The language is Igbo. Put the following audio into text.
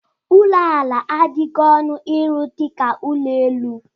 Ụlọ ala adịghị ọnụ ịrụ dịka ụlọ elu.